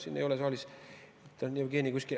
Jevgeni ei ole saalis, on kuskil ära.